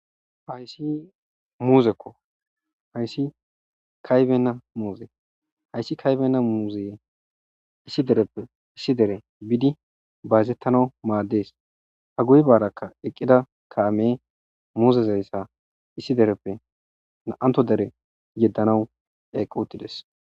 Hayssi muuzekko hayssi kaybenna muuze hayssi kaybena muuzeye issi dereppe issi dere biidi baazettana maaddees ha guybaarakka eqqida kaame muuzezayssa issi dereppe naanto dere yeddanawu eqqi uttides.